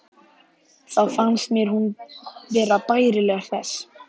Þá fannst mér hún vera bærilega hress.